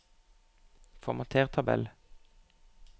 Formater tabell